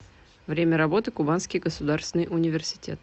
время работы кубанский государственный университет